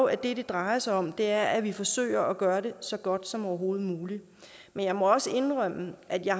at det det drejer sig om er at vi forsøger at gøre det så godt som overhovedet muligt men jeg må indrømme at jeg